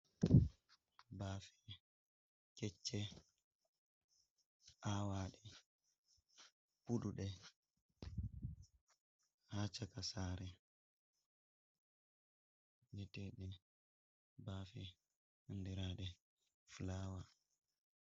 Baafe kecce, awaɗe, budude ha caka sare vi'eteɗi baafe handirade flawa.